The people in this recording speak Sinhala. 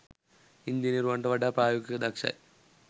ඉන්ජිනේරුවන්ට වඩා ප්‍රායෝගිකව දක්ෂයි.